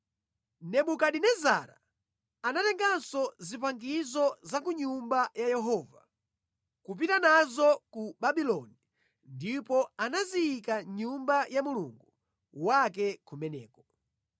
Nebukadinezara anatenganso zipangizo za ku Nyumba ya Yehova kupita nazo ku Babuloni ndipo anaziyika mʼnyumba ya Mulungu wake kumeneko.